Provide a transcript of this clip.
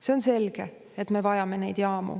See on selge, et me vajame neid jaamu.